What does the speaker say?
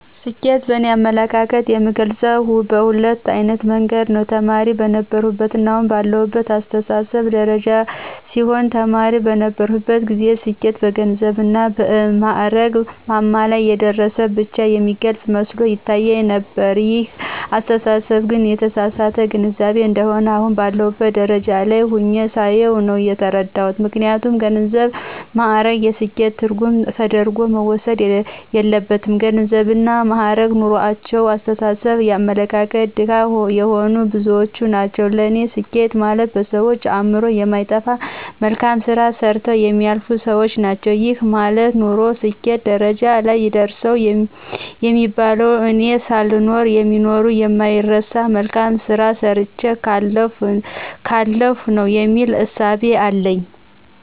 ስኬትን በእኔ አመለካከት የምገልጸው በሁለት አይነት መንገድ ነው። ተማሪ በነበርሁበትና አሁን ባለሁበት አስተሳሰብ ደረጃ ሲሆን ተማሪ በነበርሁበት ጊዜ ስኬት በገንዘብና በማእረግ ማማ ላይ የደረሰ ብቻ የሚገልጽ መስሎ ይታየኝ ነበር ይሄ አስተሳሰብ ግን የተሳሳተ ግንዛቤ እንደሆነ አሁን ባለሁበት ደረጃ ላይ ሁኘ ሳየው ነው የተረዳሁት። ምክንያቱም ገንዘብና ማእረግ የስኬት ትርጉም ተደርጎ መወሰድ የለበትም ገንዘብና ማእረግ ኑሮአቸው የአስተሳሰብና የአመለካከት ድሀ የሆኑ ብዙዎች ናቸው ለኔ ስኬት ማለት በሰዎች አእምሮ የማይጠፋ መልካም ስራ ሰርተው የሚያልፉ ሰዎች ናቸው። ይሄ ማለት ኖርሁ ስኬት ደረጃ ላይ ደረሰሁ የሚባለው እኔ ሳልኖር የሚኖር የማይረሳ መልካም ስራ ሰርቸ ካለፍሁ ነው የሚል እሳቤ አለኝ።